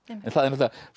en